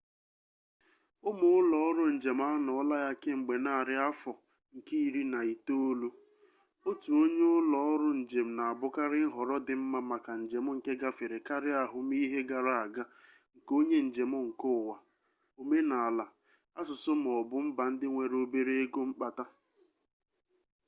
ụmụ ụlọ ọrụ njem anọọla ya kemgbe narị afọ nke iri na itoolu otu onye ụlọ ọrụ njem na-abụkarị nhọrọ dị mma maka njem nke gafere karịa ahụmihe gara aga nke onye njem nke ụwa omenala asụsụ ma ọ bụ mba ndị nwere obere ego mkpata